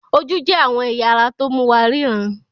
Ojú jẹ́ àwọn ẹ̀ya ara tó mú wa ríran.